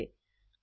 અરેત્રણ પ્રકારના છે